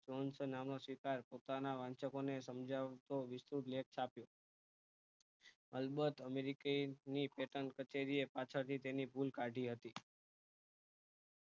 જોનસો નામ નો સ્વીકાર પોતાના વાંચકો ને સમજાવતો વિસ્તૃત લેખ છાપ્યો અલબત અમેરિકી ની patent પચવીએ પાછળ થી તેની ભૂલ કાઢી હતી